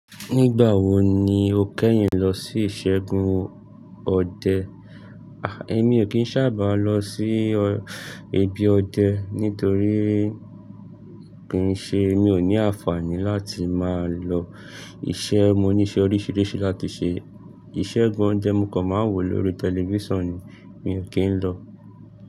Nígbà wo ni o kẹ́yin lọ sí ìṣẹ́gun ọdẹ? A! Èmi ò kín sábà lọ sí ọ, ibi ọdẹ nítorí kì í ṣe, mi ò ní àǹfààní láti máa lọ. Ṣe mo ní iṣẹ́ oríṣiríṣi láti ṣe? Ìṣẹ́gun ọdẹ mo kàn máa ń wò lóri tẹlifíṣàn ni, mi ò kín lọ.